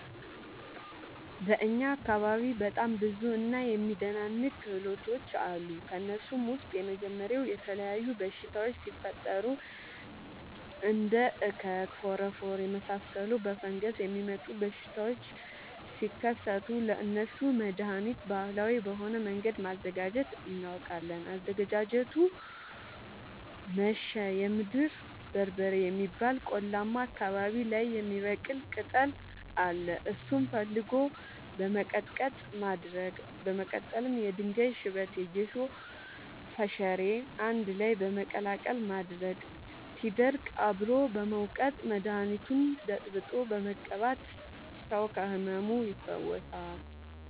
በእኛ አካባቢ በጣም ብዙ እና የሚደናንቅ ክህሎቶች አሉ። ከእነሱም ውስጥ የመጀመሪያው የተለያዩ በሽታወች ሲፈጠሪ እንደ እከክ ፎረፎር የመሳሰሉ በፈንገስ የሚመጡ በሽታዎች ሲከሰቱ ለእነሱ መደሀኒት ባህላዊ በሆነ መንገድ ማዘጋጀት እናውቃለን። አዘገጃጀቱመሸ የምድር በርበሬ የሚባል ቆላማ አካባቢዎች ላይ የሚበቅል ቅጠል አለ እሱን ፈልጎ በመቀለረጥ ማድረቅ በመቀጠልም የድንጋይ ሽበት የጌሾ ፈሸሬ አንድላይ በመቀላቀል ማድረቅ ሲደርቅ አብሮ በመውቀጥ መደኒቱን በጥብጦ በመቀባት ሰው ከህመሙ ይፈወሳል።